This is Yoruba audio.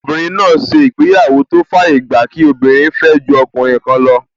Obìnrin náà ṣe ìgbéyàwó tó fàyè gba kí obìnrin fẹ́ ju ọkùnrin kan lọ